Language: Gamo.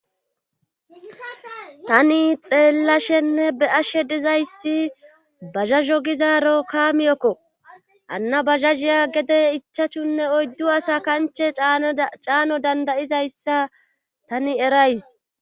Tani xeellashenne be ashe dizayssi bazazo gizaaro kaamiyokko anna bazazhiya gede ichachunne oyddu asa kanche caano dandayizayssa tani erays.